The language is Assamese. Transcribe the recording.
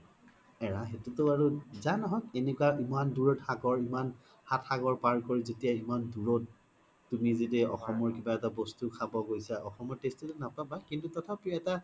এৰা সেইতো তো আৰু জা ন্হওক এনেকুৱা ইমান দুৰত সাগৰ ইমান সাত সাগৰ পাৰ কৰি যেতিয়া ইমান দুৰত তুমি জদি অসমৰ কিবা এটা বস্তু খাব গৈছা অসমৰ taste তো ত নাপবা কিন্তু তথাপিও এটা